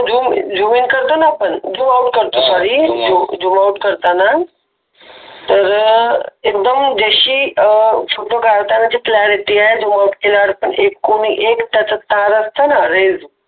zoom zoom in करतो ना आपण zoom out sorry zoom out करताना तर एकदम देशी फोटो काढता म्हणजे कल्यारिटी आहे